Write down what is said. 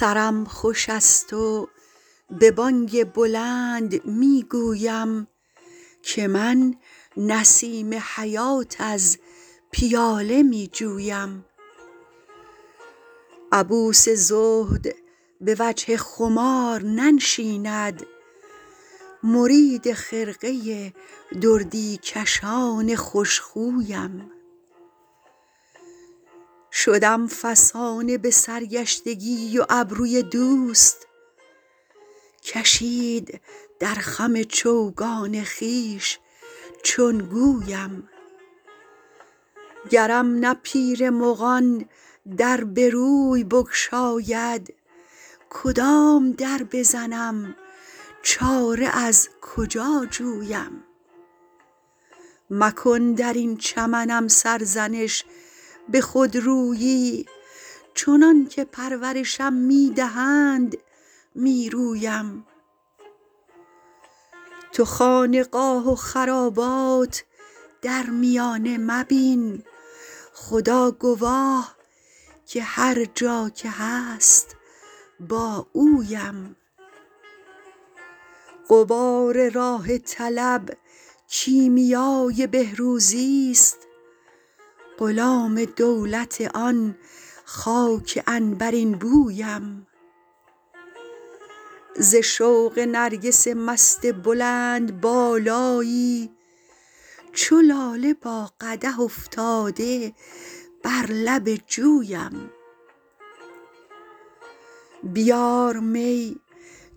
سرم خوش است و به بانگ بلند می گویم که من نسیم حیات از پیاله می جویم عبوس زهد به وجه خمار ننشیند مرید خرقه دردی کشان خوش خویم شدم فسانه به سرگشتگی و ابروی دوست کشید در خم چوگان خویش چون گویم گرم نه پیر مغان در به روی بگشاید کدام در بزنم چاره از کجا جویم مکن در این چمنم سرزنش به خودرویی چنان که پرورشم می دهند می رویم تو خانقاه و خرابات در میانه مبین خدا گواه که هر جا که هست با اویم غبار راه طلب کیمیای بهروزیست غلام دولت آن خاک عنبرین بویم ز شوق نرگس مست بلندبالایی چو لاله با قدح افتاده بر لب جویم بیار می